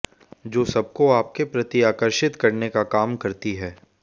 जो सबको आपके प्रति आकर्षित करने का काम करती है